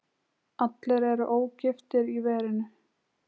Allir eru ógiftir í verinu.